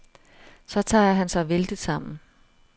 Så tager han sig vældigt sammen.